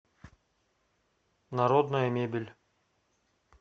народная мебель